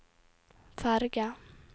ferge